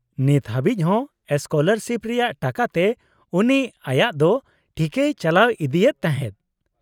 -ᱱᱤᱛ ᱦᱟᱹᱵᱤᱡ ᱦᱚᱸ ᱥᱠᱚᱞᱟᱨᱥᱤᱯ ᱨᱮᱭᱟᱜ ᱴᱟᱠᱟᱛᱮ ᱩᱱᱤ ᱟᱭᱟᱜ ᱫᱚ ᱴᱷᱤᱠᱮᱭ ᱪᱟᱞᱟᱣ ᱤᱫᱤᱭᱮᱫ ᱛᱟᱦᱮᱫ ᱾